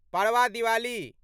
Padwa Diwali